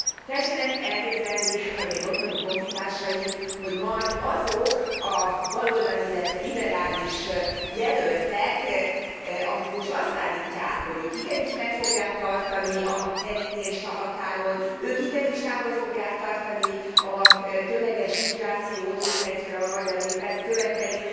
Tessenek elképzelni, az én otthoni honfitársaim, hogy majd azok a baloldali, illetve liberális jelöltek, akik most azt állítják, hogy ők igenis meg fogják tartani a kerítést a határon, ők igenis távol fogják tartani a tömeges migrációt, hogyha egyszer a magyar nép ezt követeli.